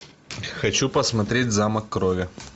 хочу посмотреть замок крови